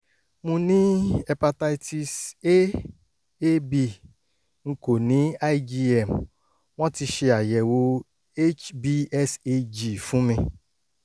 mo ní hepatitis a ab n kò ní igm; wọ́n ti ṣe àyẹ̀wò hbsag fún mi